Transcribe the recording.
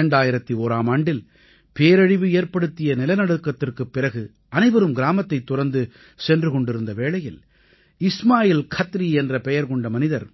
2001ஆம் ஆண்டில் பேரழிவு ஏற்படுத்திய நிலநடுக்கத்திற்குப் பிறகு அனைவரும் கிராமத்தைத் துறந்து சென்று கொண்டிருந்த வேளையில் இஸ்மாயில் கத்ரி என்ற பெயர் கொண்ட மனிதர்